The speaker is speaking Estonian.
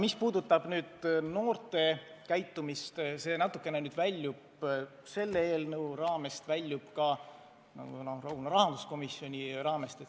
Mis puudutab noorte käitumist, siis see natukene väljub selle eelnõu raamest ja ka rahanduskomisjoni temaatika raamest.